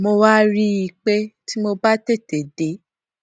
mo wá rí i pé tí mo bá tètè dé